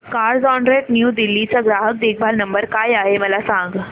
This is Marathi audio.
कार्झऑनरेंट न्यू दिल्ली चा ग्राहक देखभाल नंबर काय आहे मला सांग